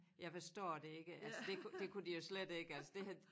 Jeg forstår det ikke altså det ikke det kunne de jo slet ikke altså det havde